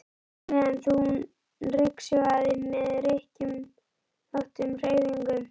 á meðan hún ryksugaði með rykkjóttum hreyfingum.